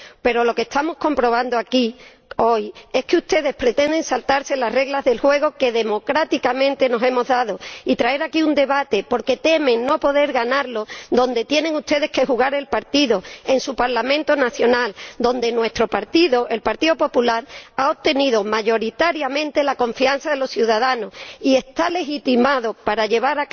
Pero lo que estamos comprobando aquí hoy es que ustedes pretenden saltarse las reglas del juego que democráticamente nos hemos dado y traer aquí un debate porque temen no poder ganarlo donde tienen ustedes que jugar la partida en su Parlamento nacional, donde nuestro partido —el Partido Popular— ha obtenido mayoritariamente la confianza de los ciudadanos y está legitimado para llevar